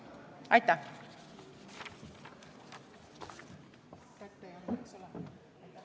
Aitäh!